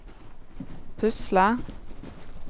pusle